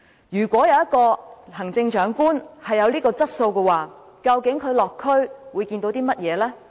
如果一位行政長官有這樣的質素，究竟他落區會看到甚麼呢？